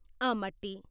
ఆ మట్టి....